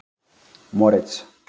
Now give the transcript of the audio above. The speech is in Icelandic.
Moritz